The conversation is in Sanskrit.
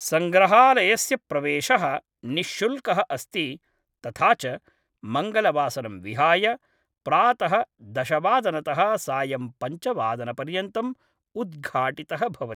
सङ्ग्रहालयस्य प्रवेशः निश्शुल्कः अस्ति तथा च मङ्गलवासरं विहाय प्रातः दश वादनतः सायं पञ्च वादनपर्यन्तम् उद्घाटितः भवति।